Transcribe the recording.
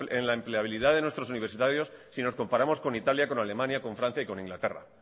en la empleabilidad de nuestros universitarios si nos comparamos con italia con alemania con francia y con inglaterra